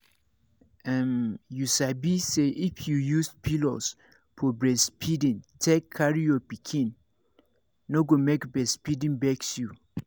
um you sabi say if you use pillows for breastfeeding take carry your pikin no go make breastfeeding vex you